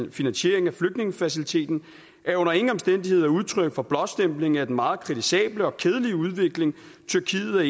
og finansiering af flygtningefaciliteten er under ingen omstændigheder udtryk for en blåstempling af den meget kritisable og kedelige udvikling tyrkiet er